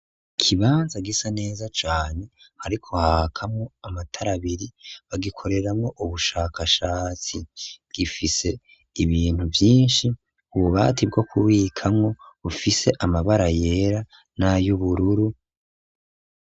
Ikibanza gisa neza cane ariko hakamwo amatara abiri bagikoreramo ubushakashatsi gifise ibintu vyinshi ububati bwo kubikamo bufise amabara yera na yubururu.